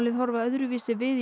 horfa öðruvísi við í